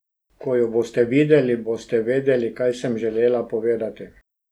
Ko jo boste videli, boste vedeli, kaj sem želela povedati.